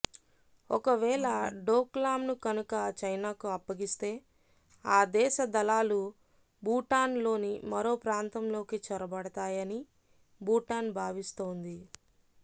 ఒకవేళ డోక్లాంను కనుక చైనాకు అప్పగిస్తే ఆ దేశ దళాలు భూటాన్లోని మరో ప్రాంతంలోకి చొరబడతాయని భూటాన్ భావిస్తోంది